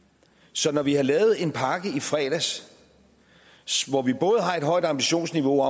så når vi har lavet en pakke i fredags hvor vi både har et højt ambitionsniveau